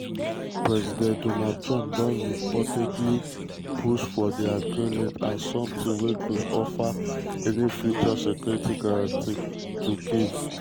president donald trump don repeatedly push for di agreement as something wey go offer any future security guarantees to kyiv.